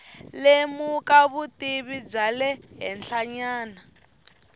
lemuka vutivi bya le henhlanyana